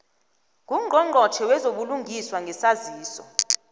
ngungqongqotjhe wezobulungiswa ngesaziso